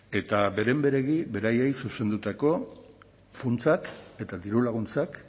eta beren beregi beraiei zuzendutako funtsak eta dirulaguntzak